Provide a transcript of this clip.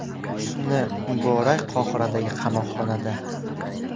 Husni Muborak Qohiradagi qamoqxonada.